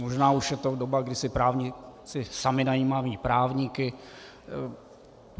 Možná už je teď doba, kdy si právníci sami najímají právníky.